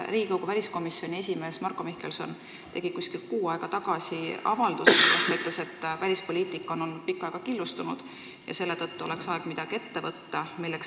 Riigikogu väliskomisjoni esimees Marko Mihkelson tegi umbes kuu aega tagasi avalduse, milles ta ütles, et välispoliitika on olnud pikka aega killustunud ja selle tõttu oleks aeg midagi ette võtta.